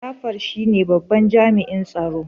Jafar shine babban jami'in tsaro.